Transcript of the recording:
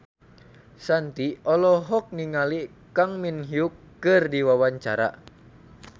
Shanti olohok ningali Kang Min Hyuk keur diwawancara